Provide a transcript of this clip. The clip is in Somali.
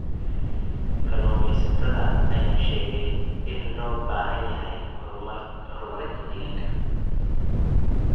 Kalluumeysatada ayaa sheegay in loo baahan yahay horumarinta deegaanka.